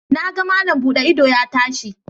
Na ga malam buɗe ido ya tashi